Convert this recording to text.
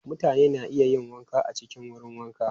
Mutane na iya yin wanka a cikin wurin wanka.